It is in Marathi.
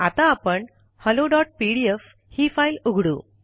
आता आपण हॅलोपीडीएफ ही फाइल उघडू